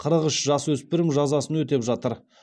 қырық үш жасөспірім жазасын өтеп жатыр